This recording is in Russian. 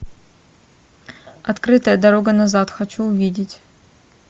открытая дорога назад хочу увидеть